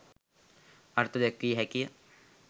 අර්ථ දැක්විය හැකි ය.